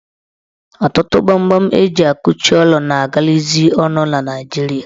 Ọtụtụ gbamgbam eji akụchị ụlọ na agalazị ọnụ na Naijiria